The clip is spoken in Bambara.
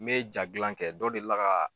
N bɛ jaa gilan kɛ dɔ deli la ka